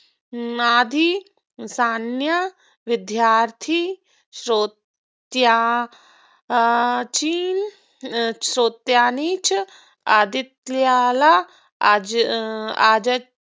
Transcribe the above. विद्यार्थी श्रोत्यांची श्रोतांनी च आदित्यला अं